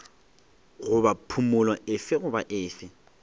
goba phumolo efe goba efe